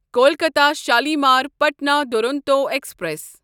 Kolkata Shalimar Patna Duronto express